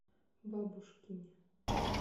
бабушкине